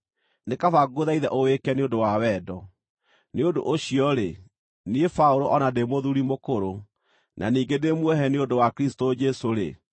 nĩ kaba ngũthaithe ũwĩke nĩ ũndũ wa wendo. Nĩ ũndũ ũcio-rĩ, niĩ Paũlũ o na ndĩ mũthuuri mũkũrũ, na ningĩ ndĩ muohe nĩ ũndũ wa Kristũ Jesũ-rĩ,